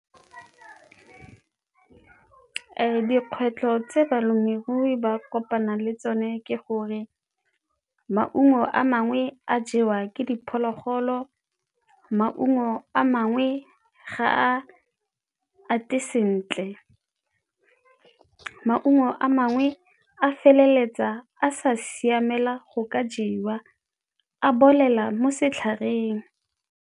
Dikgwetlho tse balemirui ba kopana le tsone ke gore maungo a mangwe a jewa ke diphologolo, maungo a mangwe e ga a ate sentle, maungo a mangwe a feleletsa a sa siamela go ka jewa, a bolela mo setlhareng.